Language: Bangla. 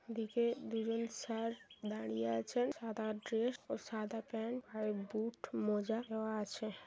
ওদিকে দুজন স্যার দাঁড়িয়ে আছেন সাদা ড্রেস ও সাদা প্যান্ট হোয়াইট বুট মোজা দেয়া আছে।